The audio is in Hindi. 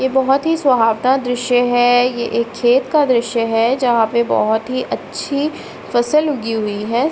ये बहोत ही सोहावता दृश्य है। ये एक खेत का दृश्य है जहाँ पे बहोत ही अच्छी फसल उगी हुई है।